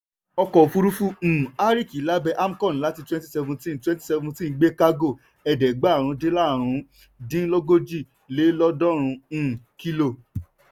ọkọ̀òfúrufú um arik lábé amcon láti twenty seventeen twenty seventeen gbé kágò ẹ̀ẹ́dẹ́gbàrún dín lárùn dín lógójì lé lọ́ọ̀dúrún um kílò.